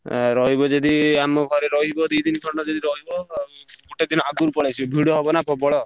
ଆଉ ରଇବ ଯଦି ଆମ ଘରେ ରହିବ ଦି ଦିନ ଖଣ୍ଡେ ଯଦି ରହିବ, ଗୋଟେ ଦିନ ଆଗରୁ ପଳେଇ ଆସିବ ଭିଡ ହବ ନା ପ୍ରବଳ।